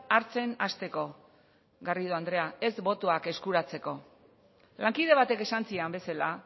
hartzen hasteko garrido andrea ez botoak eskuratzeko lankide batek esan zidan bezala